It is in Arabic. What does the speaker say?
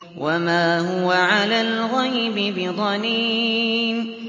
وَمَا هُوَ عَلَى الْغَيْبِ بِضَنِينٍ